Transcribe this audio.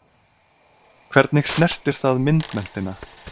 Hvernig snertir það myndmenntina?